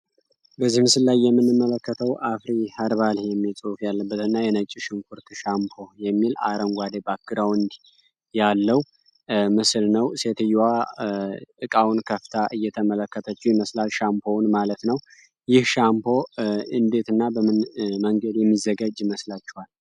በዚህ ምስል ላይ የምንመለከተው አኩሪ ሀርባል የሚል ፅሁፍ ያለበት እና የነጭ ሽንኩርት ሻምፖ አረንጓዴ ባክ ግራውንድ ያለው ምስል ነው። ሰትዮዋ እቃውን ከፍታ እየተመለከተችው ይመስላል ሻምፖውን ማለት ነው። ይህ ሻምፖ እንዴት እና በምን መንገድ የሚዘጋጅ ይመስላችኋል?